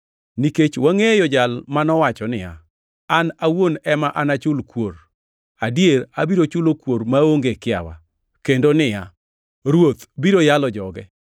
Nikech wangʼeyo Jal manowacho niya, “An awuon ema anachul kuor. Adier abiro chulo kuor maonge kiawa,” + 10:30 \+xt Rap 32:35\+xt* kendo niya, “Ruoth biro yalo joge.” + 10:30 \+xt Rap 32:36; Zab 135:14\+xt*